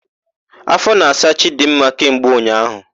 Áfọ na-asa Chidimma kemgbe ụnyaahụ.